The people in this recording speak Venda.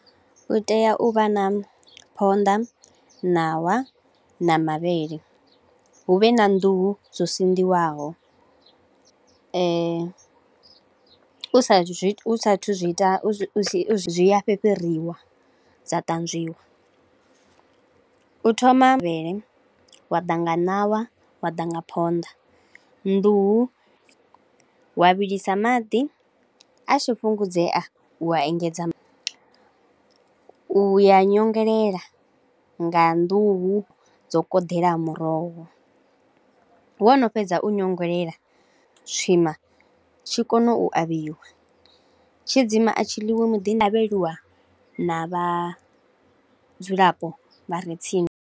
Hu tea u vha na phonḓa, ṋawa na mavhele, hu vhe na nḓuhu zwo sinḓiwaho. U saathu zwi ita zwi zwi a fhifhiriwa, dza tanzwiwa. U thoma mavhele wa ḓa nga ṋawa, wa ḓa nga phonḓa. Nḓuhu wa vhilisa maḓi a tshi fhungudzea wa engedza manwe, u a nyongelela nga nḓuhu dza u koḓela muroho, wo no fhedza u nyongelela, tswima tshi kona u avhiwa, tshidzimba a tshi ḽiwi muḓi tshi avheliwa na vha vhudzulapo vha re tsini.